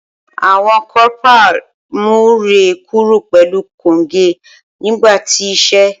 Awọn corporal mu rẹ kuro pẹlu konge nigba ti ise.